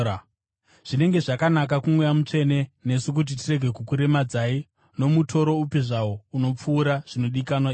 Zvinenge zvakanaka kuMweya Mutsvene nesu kuti tirege kukuremedzai nomutoro upi zvawo unopfuura zvinodikanwa izvi: